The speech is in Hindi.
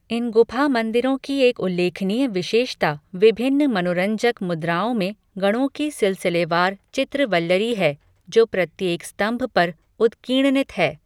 इन गुफा मंदिरों की एक उल्लेखनीय विशेषता विभिन्न मनोरंजक मुद्राओं में गणों की सिलसिलेवार चित्र वल्लरी है, जो प्रत्येक स्तंभ पर उत्कीर्णित है।